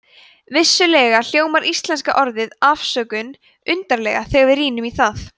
vissulega hljómar íslenska orðið afsökun undarlega þegar við rýnum í það